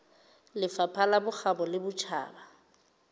lefapha la bokgabo le botjhaba